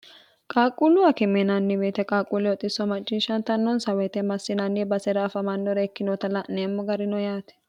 qaaqquullu akime yinanni woyite te qaaqquulle xisso macciishshantannonsa woyite massinanni basera afamannore ikkinota la'neemmo garino yaati